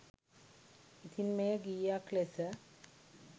ඉතිං මෙය ගීයක් ලෙස